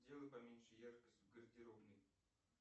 сделай поменьше яркость в гардеробной